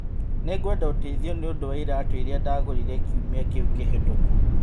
Nĩngwenda ũteithio nĩ ũndũ wa iraatũ iria ndagũrire kiumia kĩrĩa kĩhĩtũku